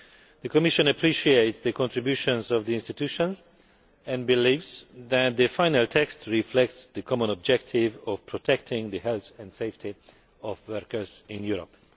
The Commission appreciates the contributions of the institutions and believes that the final text reflects the common objective of protecting the health and safety of workers in Europe.